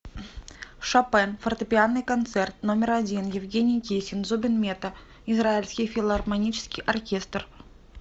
шопен фортепианный концерт номер один евгений кесин зубин мета израильский филармонический оркестр